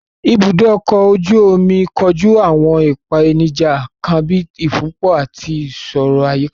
Ibùdó ọkọ̀ ojú omi kojú àwọn ìpèníjà kan bíi ìfúnpọ̀ àti ìṣòro àyíká.